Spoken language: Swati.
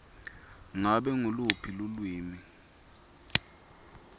ngabe nguluphi lulwimi